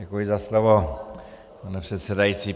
Děkuji za slovo, pane předsedající.